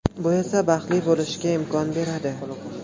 Bu esa baxtli bo‘lishga imkon beradi.